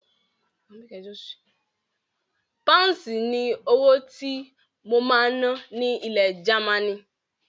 Páǹsì ni owó tí mo máa ná ní ilẹ̀ Gamaní.